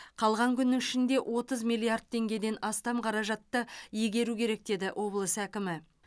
қалған күннің ішінде отыз миллиард теңгеден астам қаражатты игеру керек деді облыс әкімі